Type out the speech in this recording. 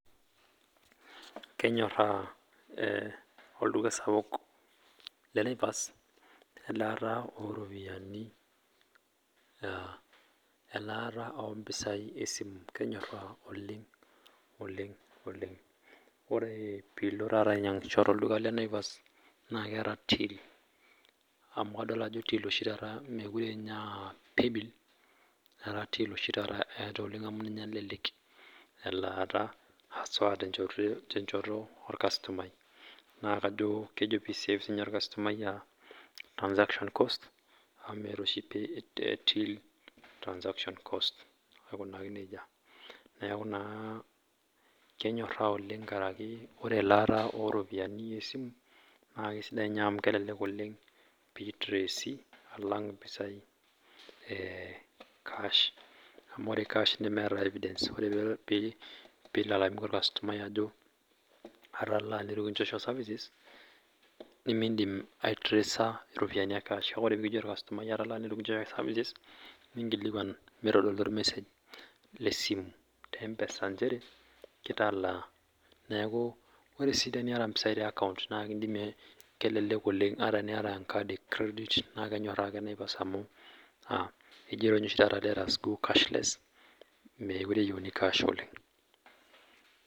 Kenyoraa eeeh olduka sapuk le Naivas elaata oropiyiani aah elaata ompisai esimu?. Kenyoraa oleng oleng. Ore piilo taata ainyiangisho tolduka le naivas naa keeta till amuu adol aah till ashi taata meekure ninye aa paybill etaa till oshi taata eetae amu ninye elelek elaata aswa tenchoto orkasitomai. Naa kajo kejo peyie esafe siininye irkasitomai aah transaction cost amuu meetaoshi till transaction cost niaku naa kenyoraa oleng nkaraki ore elaata oropiyiani esimu naa sidai ninye amuu kelelek oleng peyie e tracy alang iropiyiani e kash. Ore kash nemeeta evidence ore peyie eilalamika irkasitomai ajo atalaa neitu kinchosho services nimindim aitracer iropiyiani e kash, ina taata kake indim ninkilikuan meitodolu ormesage lesimu pee eitodolu nchere italaa. Neaku ore sii teniata mpisai te akaunt naa ekindimi kelelek oleng ata eniata enkadi e credit naa kenyoraa ake naipas amuu kejoito ninye oshi taata let us go cash less naa kashless meekure eyieuni kash oleng